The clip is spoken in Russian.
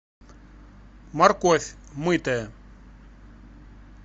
морковь мытая